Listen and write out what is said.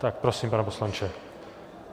Tak prosím, pane poslanče.